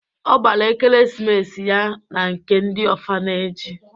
Ọ gbara ekeresimesi ya na nke ndị ọfaneji